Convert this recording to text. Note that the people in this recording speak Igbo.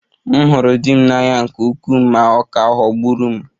M hụrụ di m n'anya nke ukwuu ma ọ ka ghọgburu m